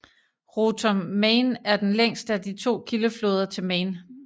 Roter Main er den længste af de to kildefloder til Main